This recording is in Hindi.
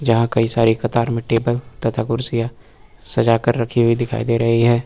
जहां कई सारी कतार में टेबल तथा कुर्सियां सजाकर रखी हुई दिखाई दे रही हैं।